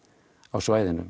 á svæðinu